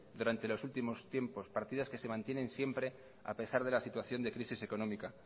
durante los últimos tiempos partidas que se mantienen siempre a pesar de la situación de crisis económica